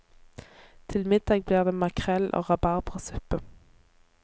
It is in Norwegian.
Til middag blir det makrell og rabarbrasuppe.